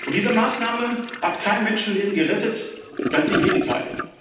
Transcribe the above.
Diese Maßnahme hat kein Menschenleben gerettet ganz im Gegenteil.